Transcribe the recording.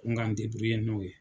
Ko n k'an n'o ye.